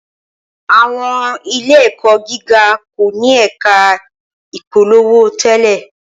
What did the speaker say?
Awọn ile-ẹkọ giga ko ni ẹka ipolowo tẹlẹ